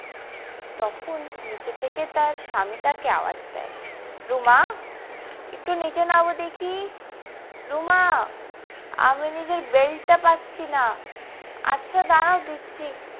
তখন নিচে থেকে তার স্বামী তাকে আওয়াজ দেয় রুমা একটু নিচে নামো দেখি রুমা আমি নিজের বেল্টটা পাচ্ছি না আচ্ছা দাঁড়াও দিচ্ছি।